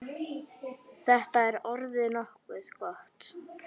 Þetta er orðið nokkuð gott.